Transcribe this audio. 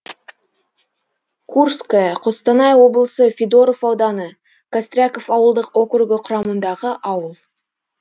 курское қостанай облысы федоров ауданы костряков ауылдық округі құрамындағы ауыл